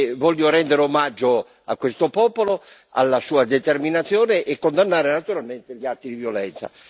Voglio rendere omaggio a questo popolo e alla sua determinazione e condannare naturalmente gli atti di violenza.